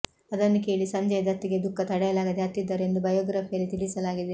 ಅದನ್ನು ಕೇಳಿ ಸಂಜಯ್ ದತ್ ಗೆ ದುಃಖ ತಡೆಯಲಾಗದೆ ಅತ್ತಿದ್ದರು ಎಂದು ಬಯೋಗ್ರಫಿಯಲ್ಲಿ ತಿಳಿಸಲಾಗಿದೆ